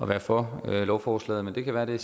være for lovforslaget men det kan være at det